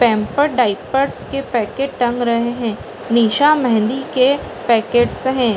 Pamper diapers के packet टंग रहे हैं। निशा मेहंदी के पैकेट्स हैं।